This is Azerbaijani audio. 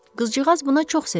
Qızcığaz buna çox sevindi.